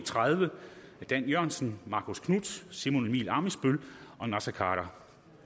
tredive af dan jørgensen marcus knuth simon emil ammitzbøll og naser khader